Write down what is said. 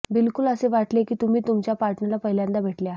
बिलकुल असे वाटेल की तुम्ही तुमच्या पार्टनला पहिलांदा भेटले आहात